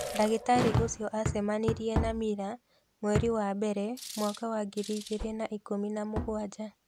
Ndagĩtarĩ ũcio acemanirie na Mila mweri wa mbere mwaka wa ngiri igĩrĩ na ikũmi na mũgwanja.